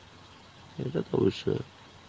এটা তো অবশ্যই.